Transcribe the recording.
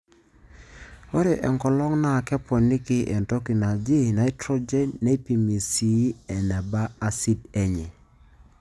Ore enkolong NAA keponiki entoki naji nitrogen neipimi sii eneba asid enye.